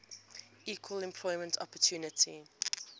equal employment opportunity